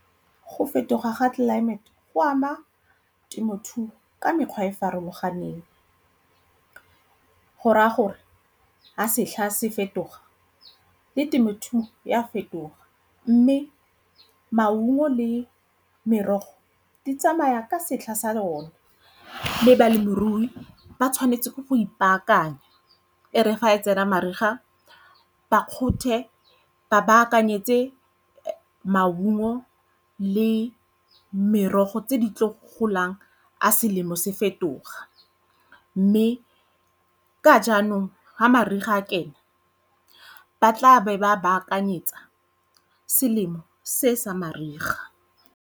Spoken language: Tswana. Go fetoga ga tlelaemete go ama temothuo ka mekgwa e e farologaneng go raya gore ha setlha se fetoga le temothuo e a fetoga mme maungo le merogo di tsamaya ka setlha sa lona. Mme balemirui ba tshwanetse ke go ipaakanya e re fa e tsena mariga ba kgonthe ba baakanyetse maungo le merogo tse di tlo golang ga selemo se fetoga mme ka jaanong ha mariga a kena ba tla be ba baakanyetsa selemo se sa mariga.